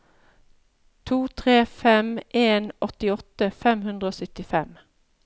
to tre fem en åttiåtte fem hundre og syttifem